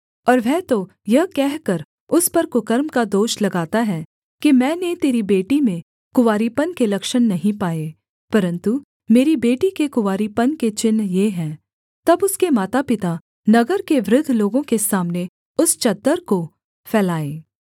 और वह तो यह कहकर उस पर कुकर्म का दोष लगाता है कि मैंने तेरी बेटी में कुँवारीपन के लक्षण नहीं पाए परन्तु मेरी बेटी के कुँवारीपन के चिन्ह ये हैं तब उसके मातापिता नगर के वृद्ध लोगों के सामने उस चद्दर को फैलाएँ